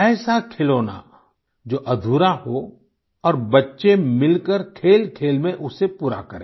ऐसा खिलौना जो अधूरा हो और बच्चे मिलकर खेलखेल में उसे पूरा करें